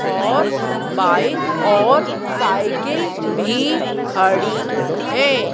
और बाइक और साइकिल भी खड़ी है।